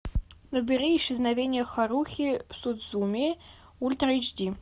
набери исчезновение харухи судзумии ультра эйч ди